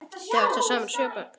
Þau áttu saman sjö börn.